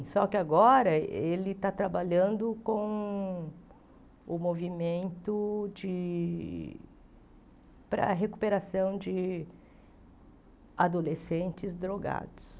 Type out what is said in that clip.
Só que agora ele está trabalhando com com o movimento de para a recuperação de adolescentes drogados.